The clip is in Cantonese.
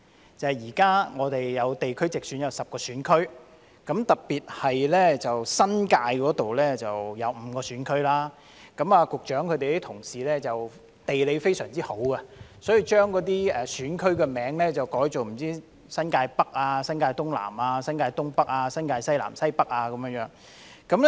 那就是現在地區直選將設10個選區，特別是新界有5個選區；局長的同事的地理知識非常好，因此把選區名稱改為"新界北"、"新界東南"、"新界東北"、"新界西南"和"新界西北"。